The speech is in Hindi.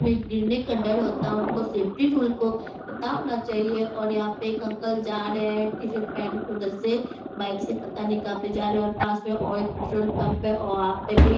उसमें एक गिरने का डर होता है उनको सेफ़्टी रूल को पता होना चाहिए और यहाँ पे एक अंकल जा रहे हैं टी-शर्ट पहन के उधर से बाइक से पता नहीं कहाँ पे जा रहे हैं और पास में एक और पेट्रोल पम्प है और वहाँ पे भी --